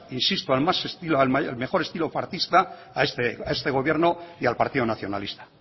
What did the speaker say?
insisto al mejor estilo partista a este gobierno y al partido nacionalista